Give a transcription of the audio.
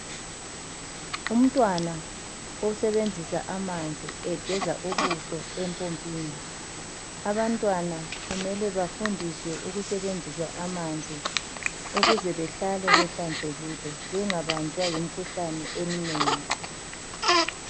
Umntwana osebenzisa amanzi egeza ubuso empompini. Abantwana kumele bafundiswe ukusebenzisa amanzi ukuze behlale behlanzekile ukuze bengabanjwa yimkhuhlane eminengi.